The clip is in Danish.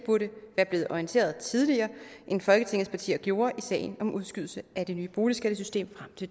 burde være blevet orienteret tidligere end folketingets partier gjorde i sagen om udskydelsen af det nye boligskattesystem